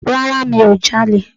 Rárá mi ò ja'lè